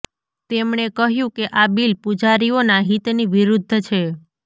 તેમણે કહ્યું કે આ બિલ પૂજારીઓના હિતની વિરુદ્ધ છે